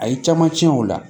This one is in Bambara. A ye caman tiɲɛ o la